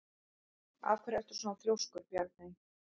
Af hverju ertu svona þrjóskur, Bjarney?